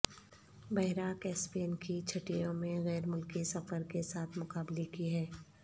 بحیرہ کیسپیئن کی چھٹیوں میں غیر ملکی سفر کے ساتھ مقابلے کی ہے